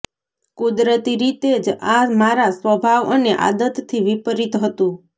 કુદરતી રીતે જ આ મારા સ્વભાવ અને આદતથી વિપરીત હતું